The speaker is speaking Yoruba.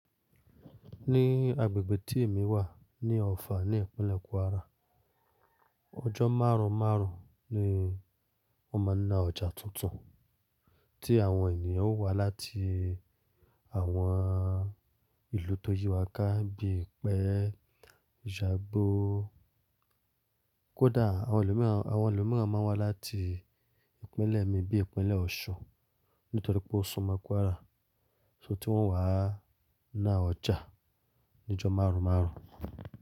Ní agbègbè tí èmi wà ní Ọ̀fà ní Ìpínlẹ̀ Kwara, ọjọ́ márùn-márùn ni wọ́n máa ń ná ọjà tuntun tí àwọn ènìyàn ó wá láti àwọn ìlú tó yí wa ká bí i pẹ́ Ṣágbó. Kódà àwọn ẹlòmíràn, àwọn ẹlòmíràn máa ń wá láti ìpínlẹ̀ mi bí i ìpínlẹ̀ Ọ̀ṣun nítorí pé ó súmọ̀ Kwara. So tí wọ́n wá ná ọjà ní ọjọ́ márùn-márùn.